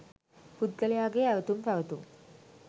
පුද්ගලයාගේ ඇවැතුම් පැවැතුම්